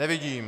Nevidím.